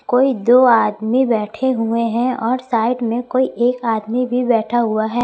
कोई दो आदमी बैठे हुए हैं और साइड में कोई एक आदमी भी बैठा हुआ है।